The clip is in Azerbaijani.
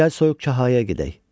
Gəl Soyuq Çahaya gedək.